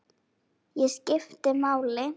Ég skipti máli.